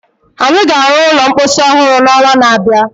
Anyị ga-arụ ụlọ mposi ọhụrụ n'ọnwa na-abịa.